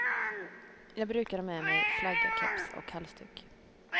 Jag brukar ha med mig flagga, keps och halsduk.